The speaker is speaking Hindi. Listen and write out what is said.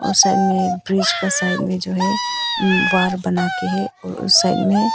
और साइड में ब्रिज के साइड में जो कि है वॉल बनाकर है और साइड में--